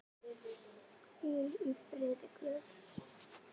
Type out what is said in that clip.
Hvíl í friði Guðs.